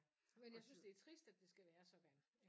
Men jeg synes det er trist at det skal være sådan